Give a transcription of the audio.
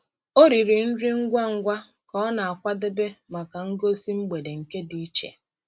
Ọ riri nri ngwa ngwa ka ọ na-akwadebe maka ngosi mgbede nke dị iche.